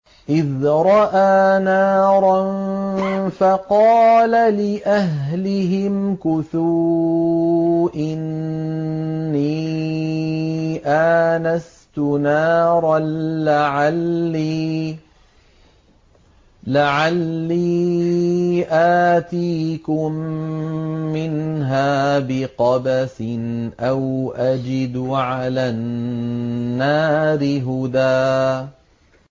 إِذْ رَأَىٰ نَارًا فَقَالَ لِأَهْلِهِ امْكُثُوا إِنِّي آنَسْتُ نَارًا لَّعَلِّي آتِيكُم مِّنْهَا بِقَبَسٍ أَوْ أَجِدُ عَلَى النَّارِ هُدًى